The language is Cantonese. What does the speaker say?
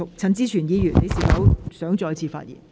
陳志全議員，你是否想再次發言？